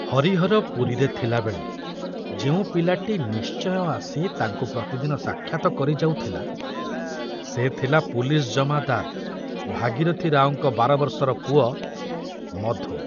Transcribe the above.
ହରିହର ପୁରୀରେ ଥିଲାବେଳେ ଯେଉଁ ପିଲାଟି ନିଶ୍ଚୟ ଆସି ତାଙ୍କୁ ପ୍ରତିଦିନ ସାକ୍ଷାତ କରିଯାଉଥିଲା, ସେ ଥିଲା ପୁଲିସ ଜମାଦାର ଭାଗୀରଥ ରାଓଙ୍କ ବାରବର୍ଷର ପୁଅ ମଧୁ।